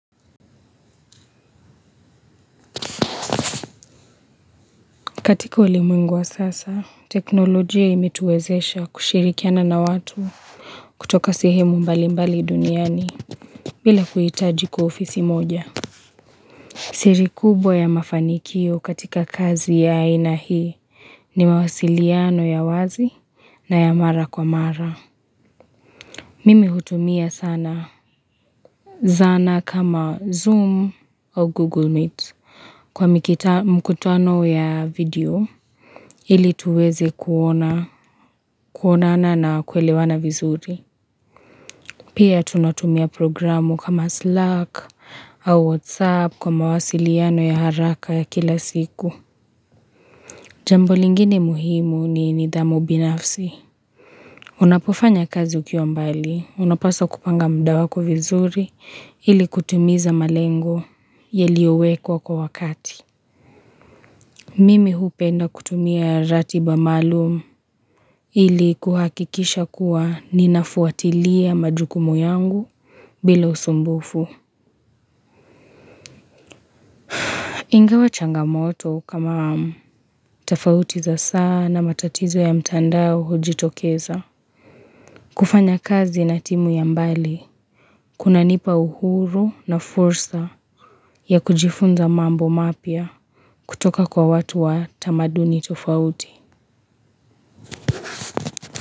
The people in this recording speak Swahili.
Katika ulimwingu wa sasa, teknolojia imetuwezesha kushirikiana na watu kutoka sehemu mbalimbali duniani bila kuhitaji kuwa ofisi moja. Siri kubwa ya mafanikio katika kazi ya aina hii ni mawasiliano ya wazi na ya mara kwa mara. Mimi hutumia sana zana kama Zoom au Google Meet. Kwa mkutuano ya video, ili tuweze kuonana na kuelewana vizuri. Pia tunatumia programu kama Slack au WhatsApp kwa mawasiliano ya haraka ya kila siku. Jambo lingine muhimu ni nidhamu binafsi. Unapofanya kazi ukiwa mbali, unapaswa kupanga muda wako vizuri ili kutimiza malengo yeliyowekwa kwa wakati. Mimi hupenda kutumia ratiba maalumu Ili kuhakikisha kuwa ninafuatilia majukumu yangu bila usumbufu Ingewa changamoto kama tofauti za saa na matatizo ya mitandao hujitokeza kufanya kazi na timu ya mbali Kuna nipa uhuru na fursa ya kujifunza mambo mapya kutoka kwa watu wa tamaduni tofauti.